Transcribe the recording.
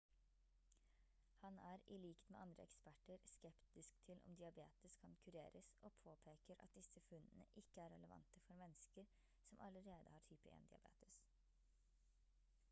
han er i likhet med andre eksperter skeptisk til om diabetes kan kureres og påpeker at disse funnene ikke er relevant for mennesker som allerede har type 1 diabetes